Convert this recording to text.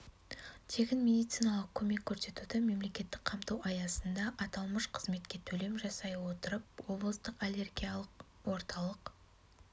тегін медициналық көмек көрсетуді мемлекеттік қамту аясында аталмыш қызметке төлем жасай отырып облыстық аллергиялық орталық